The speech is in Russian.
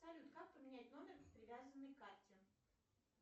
салют как поменять номер привязанный к карте